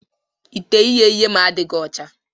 Ite ighe ihe m adịghị ọcha.